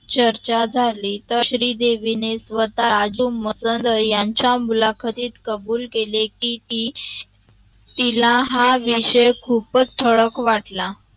चर्चा झाली तर श्रीदेवी स्वत आजुम मसर यांच्या मुलाखतीत कबूल केली की ती तिला हा विषय खूपच थळक वाटला